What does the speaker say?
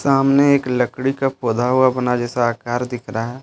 सामने एक लकड़ी का पौधा हुआ बना जैसा आकार दिख रहा है।